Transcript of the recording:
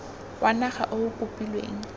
wa naga o o kopilweng